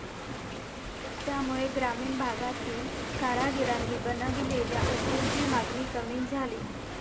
त्यामुळे ग्रामीण भागातील कारागिरांनी बनविलेल्या वस्तूंची मागणी कमी झाली.